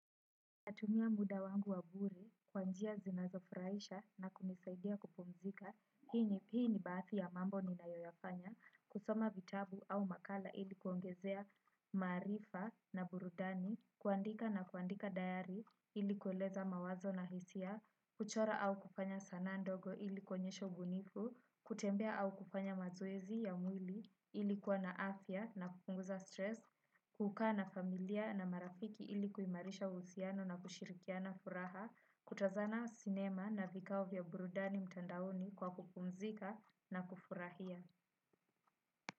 Natumia muda wangu wabure, kwanjia zinazofuraisha na kunisaidia kupumzika, hii ni baathi ya mambo ni na yoyafanya, kusoma vitabu au makala ilikuongezea maarifa na burudani, kuandika na kuandika dayari ilikueleza mawazo na hisia, kuchora au kufanya sanaa ndogo ilikuonyesha ubunifu, kutembea au kufanya mazoezi ya mwili ili kuwa na afya na kupunguza stress, kukaa na familia na marafiki ili kuimarisha uhusiano na kushirikiana furaha kutazana sinema na vikao vya buradani mtandaoni kwa kupumzika na kufurahia.